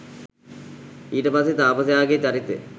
ඊට පස්සේ තාපසයාගෙ චරිතය